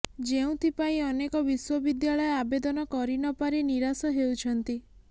ଯେଉଁଥିପାଇଁ ଅନେକ ବିଶ୍ୱବିଦ୍ୟାଳୟ ଆବେଦନ କରି ନ ପାରି ନିରାଶ ହେଉଛନ୍ତି